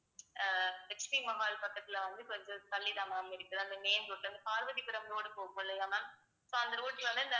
ஆஹ் லட்சுமி மஹால் பக்கத்துல வந்து இப்ப வந்து தள்ளிதான் ma'am இருக்குது அந்த பார்வதிபுரம் road போகும் இல்லையா ma'am so அந்த road ல வந்து